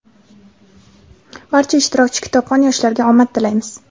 Barcha ishtirokchi kitobxon yoshlarga omad tilaymiz!.